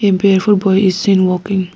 a barefoot boy is seen walking.